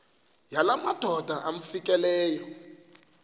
yala madoda amfikeleyo